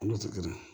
Ala tɛ na